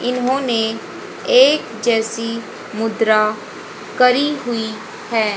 इन्होंने एक जैसी मुद्रा करी हुई है।